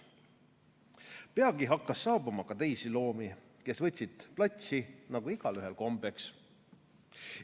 Peagi hakkas saabuma ka teisi loomi, kes võtsid platsi nagu igaühel kombeks.